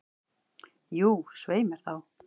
Jú, svei mér þá.